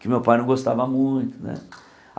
Que o meu pai não gostava muito né.